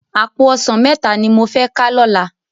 Àpó òsán mètá ni mó fè ká lòlá